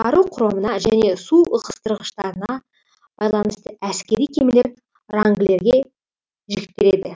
қару құрамына және су ығыстырғыштығына байланысты әскери кемелер рангілерге жіктеледі